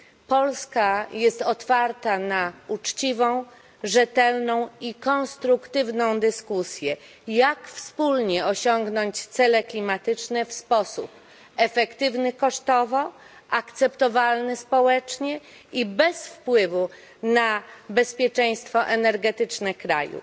Polska jest otwarta na uczciwą, rzetelną i konstruktywną dyskusję o tym, jak wspólnie osiągnąć cele klimatyczne w sposób efektywny kosztowo, akceptowalny społecznie i bez wpływu na bezpieczeństwo energetyczne kraju.